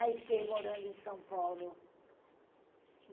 Aí fiquei morando em São Paulo.